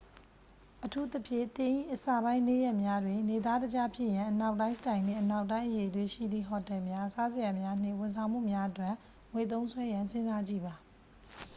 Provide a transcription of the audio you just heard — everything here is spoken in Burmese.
အထူးသဖြင့် သင်၏အစပိုင်းနေ့ရက်များတွင် နေသားတကျဖြစ်ရန် အနောက်တိုင်းစတိုင်နှင့် အနောက်တိုင်းအရည်အသွေးရှိသည့် ဟိုတယ်များ စားစရာများ နှင့် ဝန်ဆောင်မှုများအတွက် ငွေသုံးစွဲရန်စဉ်းစားကြည့်ပါ